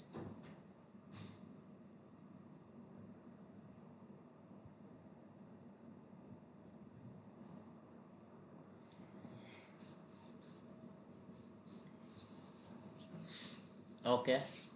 okay